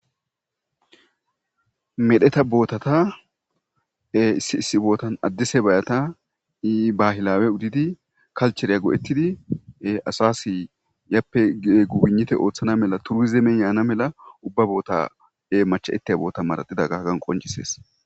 medheta bootata e issi bootan addise bayata ii bahilawe udidi kalchereya go7ettidie-asasi yappe egubinite ooththana mela turizeemen yaana mela ubba boota e macha7eteya boota maradida gagan qoncisees